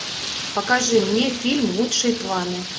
покажи мне фильм лучшие планы